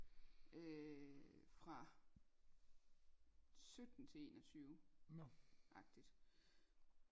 Øh fra sytten til enogtyve agtigt